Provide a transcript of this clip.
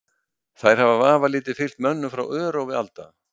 Þær hafa vafalítið fylgt mönnum frá örófi alda.